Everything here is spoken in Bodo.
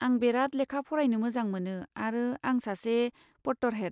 आं बेराद लेखा फरायनो मोजां मोनो आरो आं सासे पट्टरहेड।